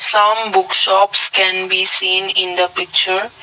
some books shops can be seen in the picture.